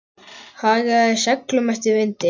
Hagaði seglum eftir vindi.